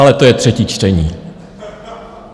Ale to je třetí čtení.